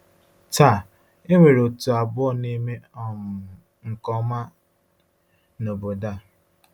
Taa, e nwere òtù abụọ na-eme um nke ọma n’obodo ahụ.